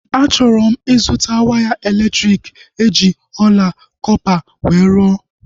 A chọrọ m ịzụta waya elektriki eji ọla kọpa wee rụọ